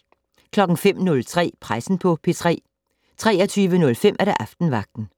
05:03: Pressen på P3 23:05: Aftenvagten